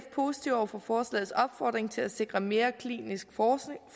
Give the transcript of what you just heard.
positive over for forslagets opfordring til at sikre mere klinisk